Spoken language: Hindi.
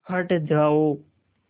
हट जाओ